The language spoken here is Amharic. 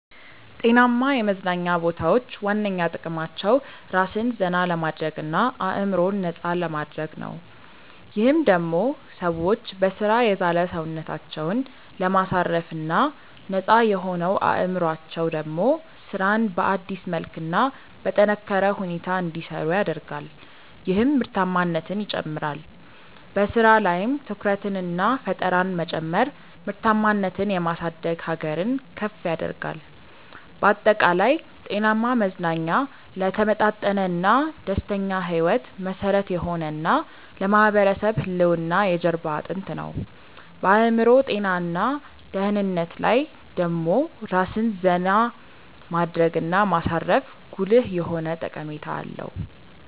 ጤናማ የመዝናኛ ቦታዎች ዋነኛ ጥቅማቸው ራስን ዘና ለማድረግ እና አዕምሮን ነፃ ለማድረግ ነው። ይህም ደሞ ሰዎች በሥራ የዛለ ሰውነታቸውን ለማሳረፍ እና ነፃ የሆነው አዕምሮአቸው ደሞ ስራን በአዲስ መልክ እና በጠነካረ ሁኔታ እንዲሰሩ ያደርጋል ይህም ምርታማነትን ይጨምራል። በሥራ ላይም ትኩረትንና ፈጠራን መጨመር ምርታማነትን የማሳደግ ሀገርን ከፍ ያደርጋል። ባጠቃላይ፣ ጤናማ መዝናኛ ለተመጣጠነና ደስተኛ ሕይወት መሠረት የሆነ እና ለማህበረሰብ ህልውና የጀርባ አጥንት ነው። በአዕምሮ ጤና እና ደህንነት ላይ ደሞ ራስን ዜና ማድረግ እና ማሳረፉ ጉልህ የሆነ ጠቀሜታ አለው።